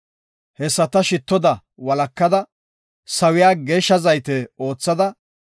Hessata shittoda walakada, sawiya geeshsha zayte oothada,